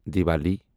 Diwali